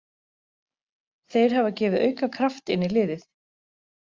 Þeir hafa gefið auka kraft inn í liðið.